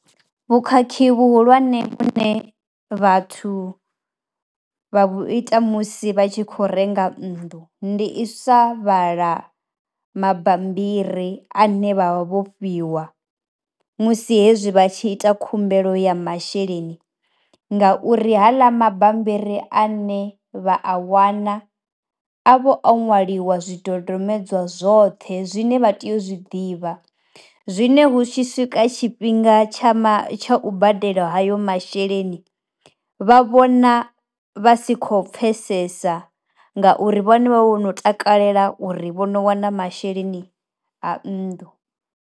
Vhukhakhi vhuhulwane vhune vhathu vha vhu ita musi vha tshi khou renga nnḓu, ndi u sa vhala mabambiri ane vha vha vho fhiwa musi hezwi vha tshi ita khumbelo ya masheleni ngauri haḽa mabambiri ane vha a wana a vha o nwaliwa zwidodombedzwa zwoṱhe zwine vha tea u zwi ḓivha. Zwine hu tshi swika tshifhinga ma tsha tsha u badela hayo masheleni vha vhona vha si khou pfesesa ngauri vhone vha vha vho no takalela uri vho no wana masheleni a nnḓu.